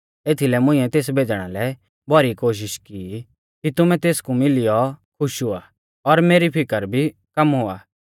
एथीलै मुंइऐ तेस भेज़णा लै भौरी कोशिष की ई कि तुमै तेसकु मिलियौ खुश हुआ और मेरी फिकर भी कम हुआ